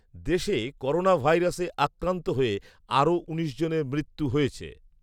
দেশে করোনা ভাইরাসে আক্রান্ত হয়ে আরও উনিশ জনের মৃ‌ত্যু হয়েছে